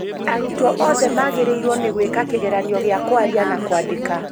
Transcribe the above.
Arutwo othe magĩrĩirwo nĩ gwĩka kĩgeranio gĩa kwaria na kwandĩka